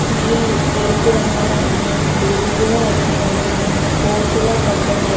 నీళ్లు ఎరుపు రంగులో ఉన్నాయి. బురుగు కూడా వస్తున్నాయి నీళ్లు. ఫోర్సుగా పడుతున్నాయి--